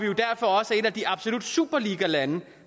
jo derfor også et af de absolut superligalande